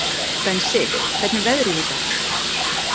Bensi, hvernig er veðrið í dag?